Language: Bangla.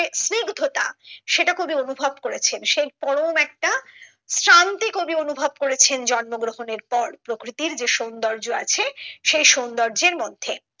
স্নিগ্ধতা সেটা কবি অনুভব করেছেন সেই পরম একটি শান্তি কবি অনুভব করেছেন জন্ম গ্রহণের পর প্রকৃতির যে সৌন্দর্য আছে সেই সৌন্দর্যের মধ্যে